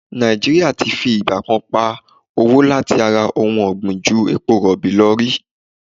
Nàìjí́ríà ti fi ìgbà kan pa owó láti ara ohun ọ̀gbìn ju epo rọ̀bì lọ rí.